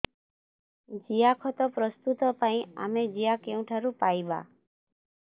ଜିଆଖତ ପ୍ରସ୍ତୁତ ପାଇଁ ଆମେ ଜିଆ କେଉଁଠାରୁ ପାଈବା